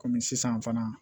Kɔmi sisan fana